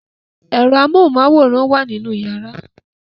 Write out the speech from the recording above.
Ẹ̀rọ amóhunmáwòrán wà nínú yàrá